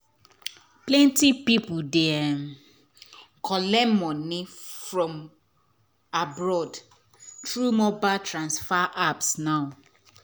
plenty people dey collect money from abroad through mobile transfer apps now.